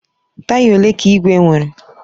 Taya ole ka igwe nwere?